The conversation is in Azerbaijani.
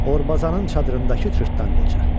Orbazanın çadırındakı cırtdan qoca.